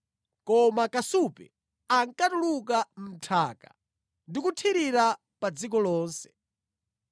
koma kasupe ankatuluka mʼnthaka ndi kuthirira pa dziko lonse.